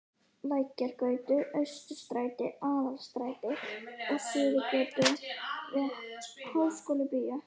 Lækjargötu, Austurstræti, Aðalstræti og Suðurgötu að Háskólabíói.